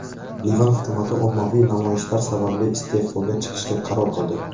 Livan hukumati ommaviy namoyishlar sababli iste’foga chiqishga qaror qildi.